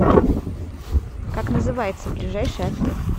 как называется ближайший отель